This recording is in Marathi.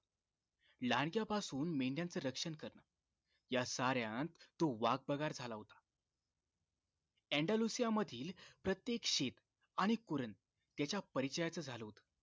लांडग्यापासून मेंढयांच रक्षण करण या सार्‍यांत तो वाघबगार झाला होता येंडलुसिया माधील प्रत्येक शेत आणि कुरण त्याच्या परिचयाचा झाल होत